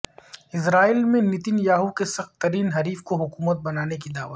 اسرائیل میں Netanyahu کے سخت ترین حریف کو حکومت بنانے کی دعوت